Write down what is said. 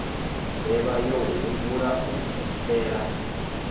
mbevha yo humbula u phephela